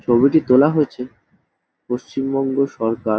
ছবিটি তোলা হয়েছে পশ্চিমবঙ্গ সরকার।